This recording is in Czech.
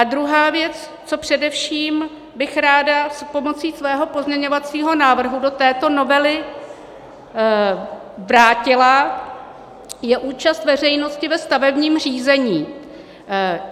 A druhá věc, co především bych ráda s pomocí svého pozměňovacího návrhu do této novely vrátila, je účast veřejnosti ve stavebním řízení.